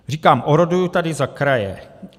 Říkám, oroduji tady za kraje.